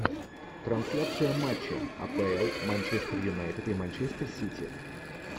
трансляция матча апл манчестер юнайтед и манчестер сити